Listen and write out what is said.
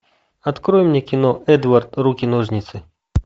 открой мне кино эдвард руки ножницы